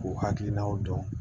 K'u hakilinaw dɔn